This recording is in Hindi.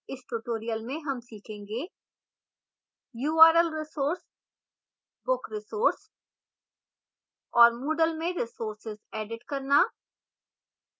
इस tutorial में हम सीखेंगे